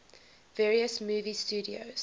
various movie studios